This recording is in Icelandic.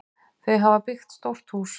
Þau hafa byggt stórt hús.